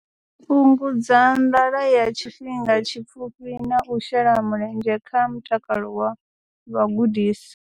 Fhungudza nḓala ya tshifhinga tshipfufhi na u shela mulenzhe kha mutakalo wa vhagudiswa.